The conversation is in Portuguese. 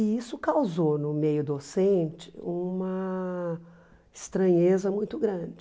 E isso causou no meio docente uma estranheza muito grande.